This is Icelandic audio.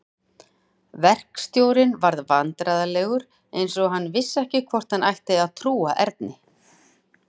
Verkstjórinn varð vandræðalegur eins og hann vissi ekki hvort hann ætti að trúa Erni.